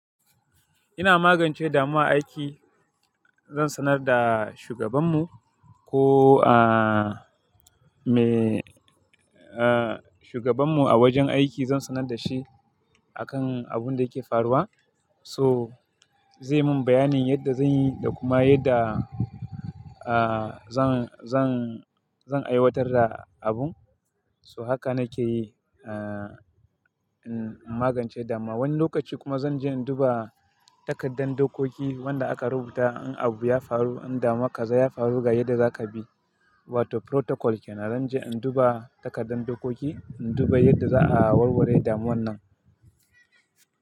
Ina magance damuwa a aiki, zan sanar da shugabanmu ko, ah, me, ah, shugabanmu a wajen aiki zan sanar da shi akan abun da yake faruwa. So zai mun bayanin yadda zan yi da kuma yadda, ah, zan, zan, zan aiwatar da abun. So haka nake yi, ah, in magance damuwa. Wani lokaci kuma zan je in duba takaddar dokoki wanda aka rubuta in abu ya faru, in damuwa kaza ya faru ga yadda zaka bi. Wato protocol kenan. Zan je in duba takaddar dokoki, in duba yadda za'a warware damuwan nan.